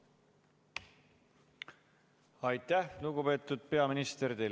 Aitäh, lugupeetud peaminister!